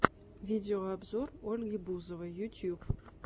видеообзор ольги бузовой ютуб